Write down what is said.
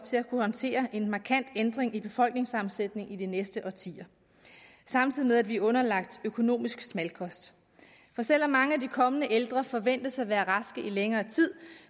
til at kunne håndtere en markant ændring i befolkningssammensætningen i de næste årtier samtidig med at vi er underlagt økonomisk smalkost for selv om mange af de kommende ældre forventes at være raske i længere tid